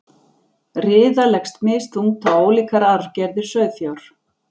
Riða leggst misþungt á ólíkar arfgerðir sauðfjár.